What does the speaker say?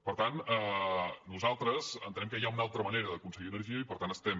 per tant nosaltres entenem que hi ha una altra manera d’aconseguir energia i per tant estem